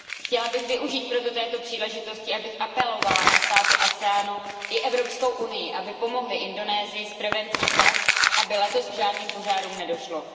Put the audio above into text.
Chtěla bych využít proto této příležitosti, abych apelovala na státy sdružení ASEAN i EU, aby pomohly Indonésii s prevencí tak, aby letos k žádným požárům nedošlo.